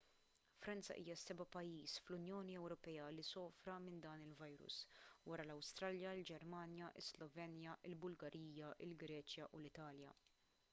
franza hija s-seba' pajjiż fl-unjoni ewropea li sofra minn dan il-virus wara l-awstrija il-ġermanja is-slovenja il-bulgarija il-greċja u l-italja